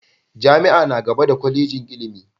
Jami'a na gaba da Kwallejin ilimi.